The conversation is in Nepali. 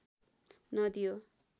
नदी हो